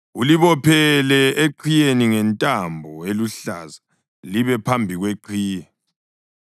Ulibophele eqhiyeni ngentambo eluhlaza libe phambi kweqhiye.